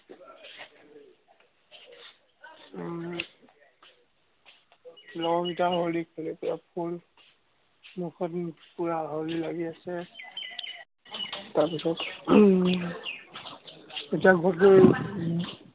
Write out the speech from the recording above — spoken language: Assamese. উম মুখত পুৰা হলি লাগি আছে। তাৰ পিছত উম এতিয়া ঘৰত গৈ